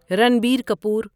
Ranbir Kapoor